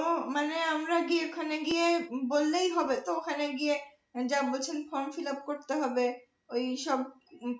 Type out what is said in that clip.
ও মানে আমরা ওখানে গিয়ে বললেই হবে তো ওখানে গিয়ে যা বলছেন form fillup করতে হবে ওইসব